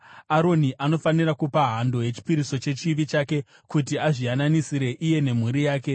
“Aroni anofanira kupa hando yechipiriso chechivi chake kuti azviyananisire iye nemhuri yake.